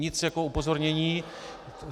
Nic, jenom upozornění.